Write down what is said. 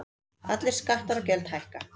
Allir skattar og gjöld hækka